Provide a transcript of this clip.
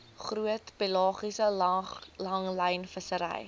groot pelagiese langlynvissery